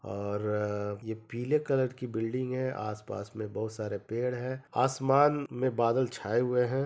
और यह पीले कलर की बिल्डिग है आसपास में बहुत सारे पेड़ है आसमान में बादल छाए हुए है।